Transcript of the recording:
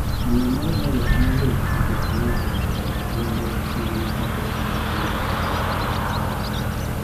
Miyo moro ne oywak malit nikech ng'ato onego gwende mane ochako pithgi gi pes chadi.